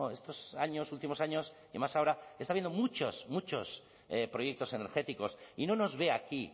estos años últimos años y más ahora está habiendo muchos muchos proyectos energéticos y no nos ve aquí